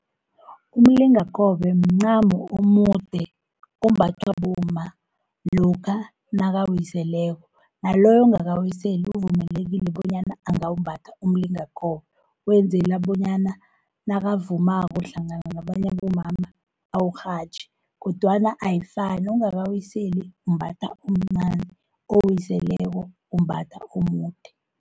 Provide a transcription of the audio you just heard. Umlingakobe mncamo omude ombathwa bomma lokha nakawiseleko, naloyo ungakawiseli uvumelekile bonyana angawumbatha umlingakobe. Wenzela bonyana nakavumako hlangana nabanye abomama awurhatjhe, kodwana ayifani ungakawiseli umbatha omncani owiseleko umbatha omude.